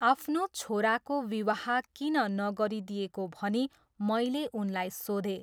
आफ्नो छोराको विवाह किन नगरिदिएको भनी मैले उनलाई सोधेँ।